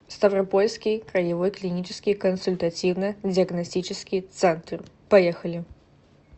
ставропольский краевой клинический консультативно диагностический центр поехали